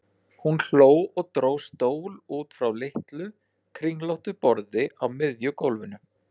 Hún hló og dró stól út frá litlu, kringlóttu borði á miðju gólfinu.